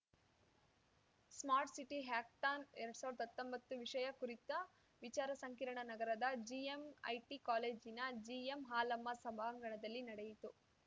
smart city ಹ್ಯಾಕಥಾನ್‌ಎರಡ್ ಸಾವ್ರ್ದ ಹತ್ತೊಂಬತ್ತು ವಿಷಯ ಕುರಿತ ವಿಚಾರ ಸಂಕಿರಣ ನಗರದ ಜಿಎಂಐಟಿ ಕಾಲೇಜಿನ ಜಿಎಂಹಾಲಮ್ಮ ಸಭಾಂಗಣದಲ್ಲಿ ನಡೆಯಿತು